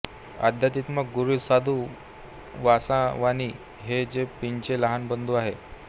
आध्यात्मिक गुरू साधू वासवानी हे जे पींचे लहान बंधू होत